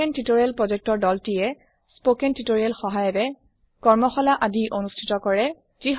spoken tutorial project team এ বাকধ্বনি যুক্ত নিৰ্দেশনা থকা ৱাৰ্কশ্বপ কৰোৱাই স্পোকেন টিউটোৰিএল ৰ দ্বাৰা